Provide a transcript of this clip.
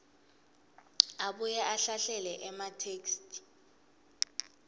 abuye ahlahlele ematheksthi